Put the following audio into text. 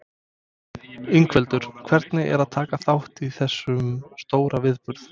Ingveldur: Hvernig er að taka þátt í þessum stóra viðburði?